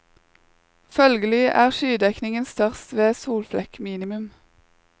Følgelig er skydekningen størst ved solflekkminimum.